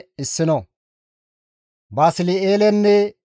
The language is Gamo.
Qasseka GODAY Muses hizgides,